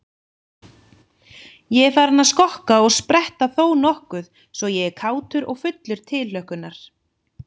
Ég er farinn að skokka og spretta þónokkuð svo ég er kátur og fullur tilhlökkunar.